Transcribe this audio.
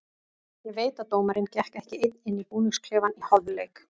Ég veit að dómarinn gekk ekki einn inn í búningsklefann í hálfleik.